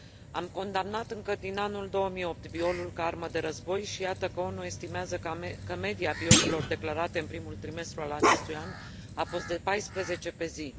Am condamnat încă din anul 2008 violul ca armă de război și iată că ONU estimează că media violurilor declarate în primul trimestru al acestui an a fost de 14 pe zi.